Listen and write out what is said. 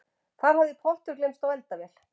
Þar hafði pottur gleymst á eldavél